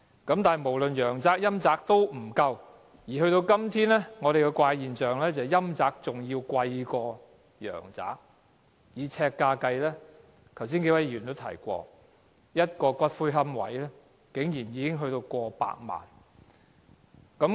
但是，無論陽宅或陰宅都不足夠，而到了今天，出現了一種怪現象，就是以呎價計算，陰宅比陽宅更貴，正如剛才數位議員表示，一個骨灰龕位竟然超過100萬元。